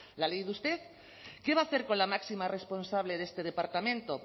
la ha leído usted qué va a hacer con la máxima responsable de este departamento